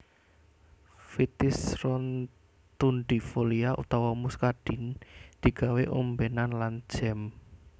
Vitis rotundifolia utawa muscadine digawé ombènan lan jam